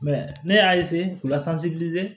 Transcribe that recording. ne y'a k'u la